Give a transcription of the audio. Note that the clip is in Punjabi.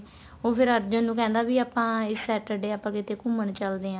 ਉਹ ਫ਼ੇਰ ਅਰਜੁਨ ਨੂੰ ਕਹਿੰਦਾ ਵੀ ਆਪਾਂ ਇਸ Saturday ਆਪਾਂ ਕਿੱਥੇ ਘੁੰਮਣ ਚੱਲਦੇ ਆ